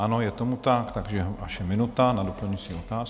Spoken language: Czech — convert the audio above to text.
Ano, je tomu tak, takže vaše minuta na doplňující otázku.